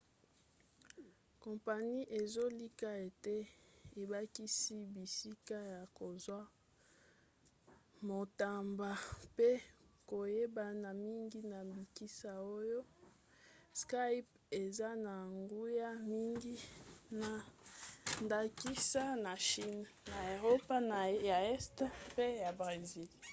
kompani ezolika ete ebakisa bisika ya kozwa matomba mpe koyebana mingi na bisika oyo skype eza na nguya mingi na ndakisa na chine na eropa ye este mpe na bresil